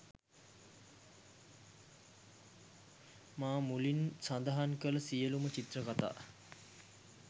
මා මුලින් සඳහන් කළ සියළුම චිත්‍රකතා